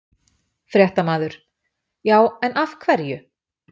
Fréttamaður: Já, en af hverju?